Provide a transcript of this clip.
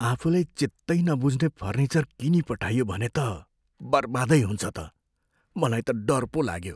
आफूलाई चित्तै नबुझ्ने फर्निचर किनिपठाइयो भने त बर्बादै हुन्छ त। मलाई त डर पो लाग्यो।